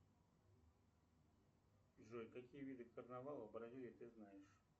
джой какие виды карнавала в бразилии ты знаешь